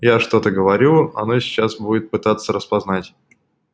я что-то говорю она сейчас будет пытаться распознать